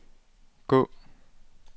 gå